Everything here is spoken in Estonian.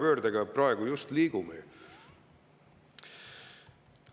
Sinna me praegu just oma rohepöördega liigume.